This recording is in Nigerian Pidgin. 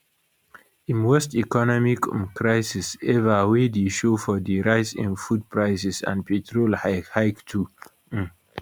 im worst economic um crisis ever wey dey show for di rise in food prices and petrol hike hike too um